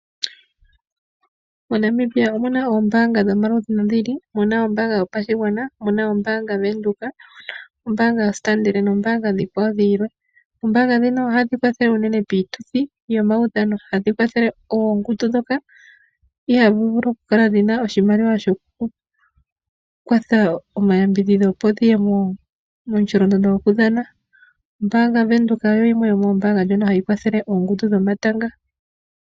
MoNamibia omu na oombaanga dhomaludhi nodhi ili, ano mu na oombaanga yopashigwana, mu na ombaanga Venduka, ombaanga yoStandard nombaanga oonkwawo dhilwe. Oombaanga ohadhi kwathele unene piituthi yomaudhano. Ohadhi kwathele oongundu ndhoka ihadhi vulu okukala dhi na oshimaliwa shokukwata omayambidhidho, opo dhi ye momusholondondo gokudhana. Ombaanga Venduka oyo yimwe yomoombaanga ndhono hadhi kwathele oongundu dhomatanga.